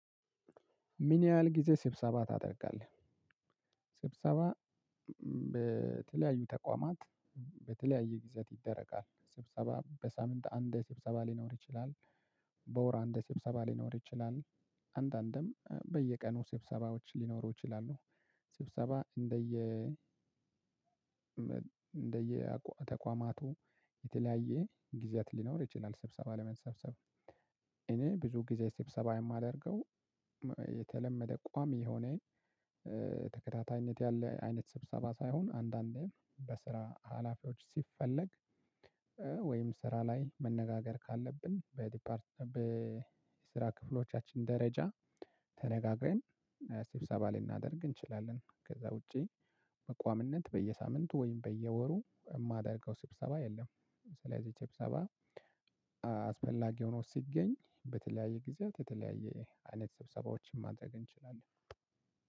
ምን ያህል ጊዜ ስብሰባ ታደርጋለህ? ስብሰባ በተለያዩ ተቋማት በተለያየ ጊዜያት ይደረጋል ስብሰባ በሳምንት አንድ ስብሰባ ሊኖር ይችላል። በወር አንድ ሰብሰባ ሊኖር ይችላል። አንዳንድም በየቀኑ ሰብሰባዎች ሊኖሩ ይችላሉ። ስብሰባ እንደየ እንደየ ተቋማቱ የተለያየ ጊዜያት ሊኖር ይችላል ስብሰባ ለመሰብሰብ። እኔ ብዙ ጊዜ ስብሰባ የማደርገው የተለመደ ቋሚ የሆነ ተከታታይነት ያለ አይነት ስብሰባ ሳይሆን አንዳንዴም በስራ ሀላፊዎች ሲፈለግ። ወይም ስራ ላይ መነጋገር ካለብን በዲፓርት በስራ ክፍሎቻችን ደረጃ ተነጋግረን ስብሰባ ልናደርግ እንችላለን። ከዛ ውጪ በቋሚነት በየሳምንቱ ወይም በየወሩ የማደርገው ስብሰባ የለም። ስለዚህ ስብሰባ አስፈላጊ ሆኖ ሲገኝ በተለያየ ጊዜያት የተለያየ አይነት ስብሰባዎችን ማድረግ እንችላለን።